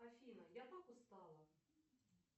афина я так устала